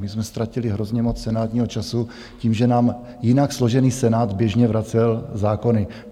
My jsme ztratili hrozně moc senátního času tím, že nám jinak složený Senát běžně vracel zákony.